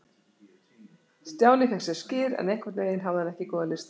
Stjáni fékk sér skyr, en einhvern veginn hafði hann ekki góða lyst á því núna.